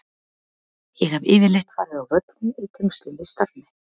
Ég hef yfirleitt farið á völlinn í tengslum við starf mitt.